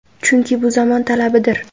Chunki bu zamon talabidir.